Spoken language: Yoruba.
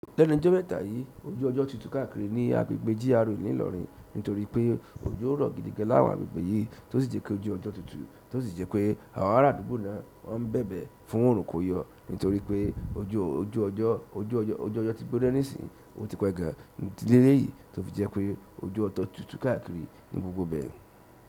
Lẹ́nu ijó mẹ́ta yí, ojú ọjọ́ tutù káàkiri ní agbègbè GRA ìlú Ìlọrin nítorí pé ojo rọ̀ gidigan láwọn agbègbè yí tó sì jẹ́ pé ojú ọjọ́ tutù tó sì jẹ́ pé àwọn ará àdúgbò náà ń bẹ̀bẹ̀ fún òrùn kó yọ. Nitoripe ojú ọjọ ti gbóná nisin o ti pe gan idi leleyi tofi je pe ojú ọjọ tutu káàkiri ni gbogbo ibe.